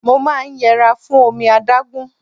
Mo máa ń yẹra fún omi adágún.